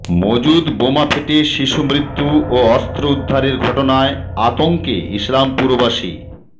মজুত বোমা ফেটে শিশু মৃত্যু ও অস্ত্র উদ্ধারের ঘটনায় আতঙ্কে ইসলামপুরবাসী